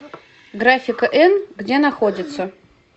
графика н где находится